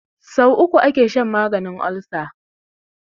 So uku ake shan maganin olsa